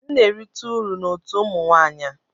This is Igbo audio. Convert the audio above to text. M na-erite uru na otu ụmụ nwanyị a